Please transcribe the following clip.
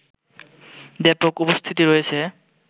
ব্যাপক উপস্থিতি রয়েছে